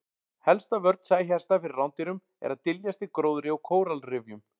Helsta vörn sæhesta fyrir rándýrum er að dyljast í gróðri og kóralrifjum.